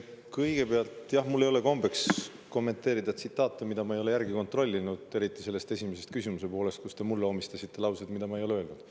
Kõigepealt, mul ei ole kombeks kommenteerida tsitaate, mida ma ei ole kontrollinud, eriti teie esimesele küsimusele, kus te mulle omistasite lauseid, mida ma ei ole öelnud.